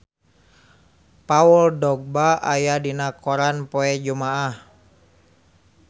Paul Dogba aya dina koran poe Jumaah